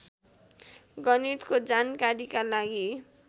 गणितको जानकारीका लागि